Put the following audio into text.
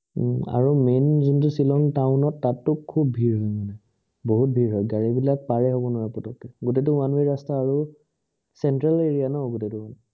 আৰু main যোনটো Shillong town ত তাতটো খুব ভীৰ বহুত ভীৰ হয় মানে, বহুত ভীৰ হয়, গাড়ী বিলাক পাৰে হব নোৱাৰে পতকে, গোটেইটো one way ৰাস্তা আৰু center area ন গোটেইটো